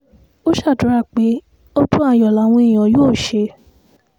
ó ṣàdúrà pé ọdún ayọ̀ làwọn èèyàn yóò ṣe